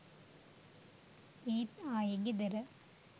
ඒත් ආයේ ගෙදර.